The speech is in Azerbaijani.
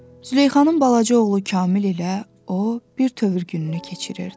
Züleyxanın balaca oğlu Kamil ilə o bir təhər gününü keçirirdi.